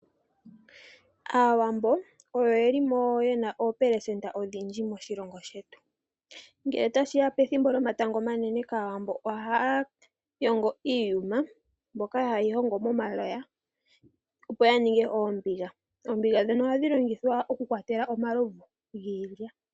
Aawambo ogwo omuhoko gu li mo ogundji moshilongo shetu. Ngele tashi ya komatango omanene, Aawambo ohaya yongo iiyuma, mbyoka hayeyi yongo momaloya opo ya ninge oombiga. Oombiga dhino ohadhi longithwa okukwatela omalovu giilya.